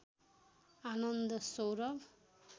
Anand Saurabh